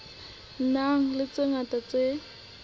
nang le tse ngata tse